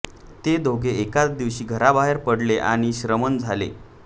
ते दोघे एकाच दिवशी घराबाहेर पडले आणि श्रमण झाले